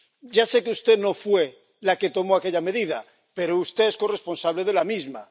Ya sé que usted no fue la que tomó aquella medida, pero usted es corresponsable de la misma.